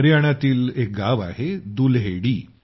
हरियाणातील एक गाव आहे दुल्हेडी